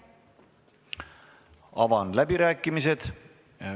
Avan läbirääkimised.